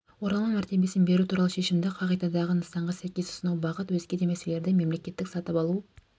оралман мәртебесін беру туралы шешімді қағидадағы нысанға сәйкес ұсыну бағыт өзге де мәселелер мемлекеттік сатып алу